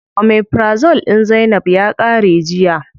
Omeprazole din zainab ya qare jiya.